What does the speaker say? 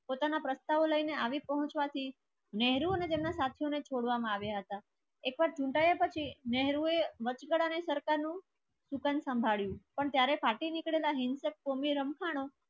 પોતાના પ્રસ્તાવો લઈને આવી પહોંચવાથી નહેરુ અને તેમના સાત સો ને છોડવામાં આવ્યા હતા. એક વાર ચૂંટાયા પછી નહેરુએ સરકારનું સુકન સંભાળ્યું પણ ત્યારે ફાટી નીકળેલા હિંસાનો